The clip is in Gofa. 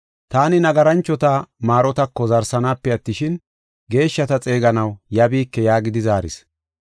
Taani nagaranchota maarotako zaaranaasafe attishin, geeshshata xeeganaw yabiike” yaagidi zaaris.